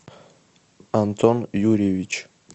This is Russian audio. антон юрьевич